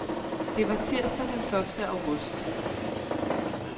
Det var tirsdag den første august.